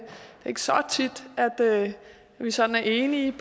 ikke så tit at vi sådan er enige